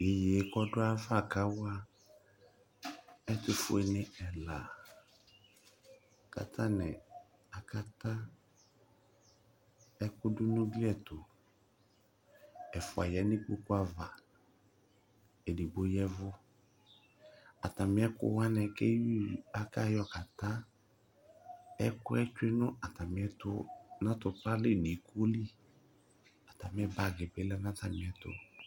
Iyeye yɛ kawa ɛtʋ fueni ɛla kʋ atani atakata ɛkʋ dunu igli ɛtʋ ɛfʋa yanʋ ikpoku ava ugli ɛtʋ edigbo ya ɛvʋ ɛkʋta ɛkʋwani kʋ akayɔ ta ɛkʋ tsue nʋ atupa nili atami bagi ni lɛnʋ atamiɛtʋ